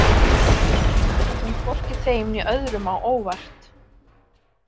Þetta kom hvorki þeim né öðrum á óvart.